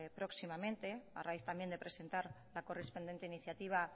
próximamente a raíz también de presentar la correspondiente iniciativa